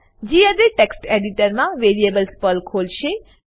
આ gedit text એડિટરમા variables પલ ખોલશે